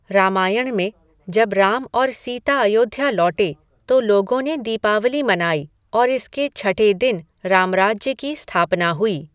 रामायण में, जब राम और सीता अयोध्या लौटे, तो लोगों ने दीपावली मनाई, और इसके छठे दिन, रामराज्य की स्थापना हुई।